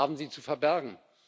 Was haben Sie zu verbergen?